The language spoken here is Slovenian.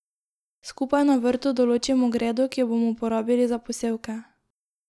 Skupaj na vrtu določimo gredo, ki jo bomo uporabili za posevke.